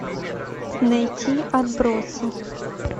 найти отбросы